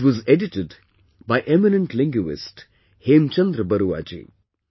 It was edited by eminent linguist Hemchandra Barua ji